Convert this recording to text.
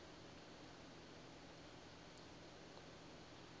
a hu nga do vha